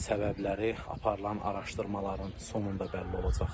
səbəbləri aparılan araşdırmaların sonunda bəlli olacaq.